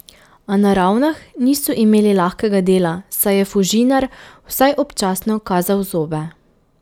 A na Ravnah niso imeli lahkega dela, saj je Fužinar vsaj občasno kazal zobe.